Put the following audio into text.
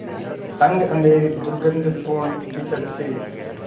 तंग अँधेरी दुर्गन्धपूर्ण कीचड़ से